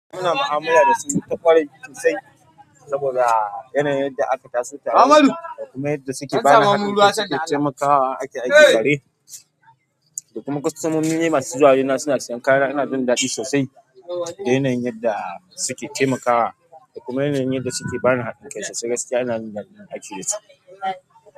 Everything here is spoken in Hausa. Ina ma'amala da su ta ƙwarai sosai saboda yanayin da aka taso tare da kuma yadda suke bani haɗin kansu da taimakawa ake aikin gare. Da kuma kusan mun yi masu juyawa suna siyan kaya. Ina jin daɗi sosai da yanayin yadda suke taimakawa da kuma yanayin da suke bani haɗin kansu. Gaskiya ina jin daɗin aiki da su.